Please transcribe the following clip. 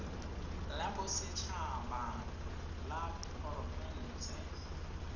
la boset haba la diporofense